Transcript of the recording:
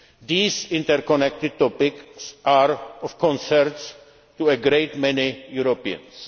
change. These interconnected topics are of concern to a great many